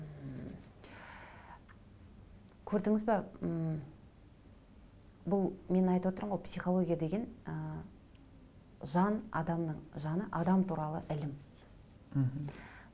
көрдіңіз бе ммм бұл мен айтып отырмын ғой психология деген ы жан адамның жаны адам туралы ілім мхм